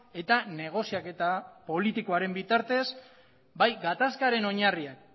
eta negoziaketa politikoaren bitartez bai gatazkaren oinarriak